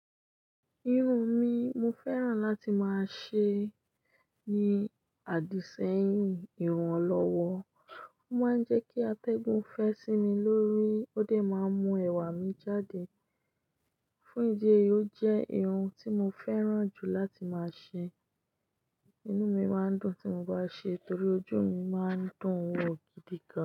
Irun mi, mofẹ́ràn láti má ṣe ni àdìsẹ́yìn irun olowo. Ó máa ń jẹ́ kí atẹ́gùn fẹ́ sí mi lórí, ó dẹ̀ máa ń mú ẹwà mi jáde. Fún ìdí èyí ó jẹ́ irun tí mo fẹ́ràn jù láti má ṣe. Inú mi máa ń dùn tí mo bá ṣe é torí ojú mi máa ń dùn wò gíga.